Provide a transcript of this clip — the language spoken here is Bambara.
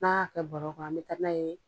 N'a y'a kɛ bɔrɔ kɔnɔ an bɛ taa n'a ye.